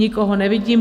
Nikoho nevidím.